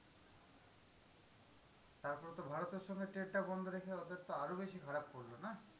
তারপরে তো ভারতের সঙ্গে trade টা বন্ধ রেখে ওদের তো আরো বেশি খারাপ করলো না?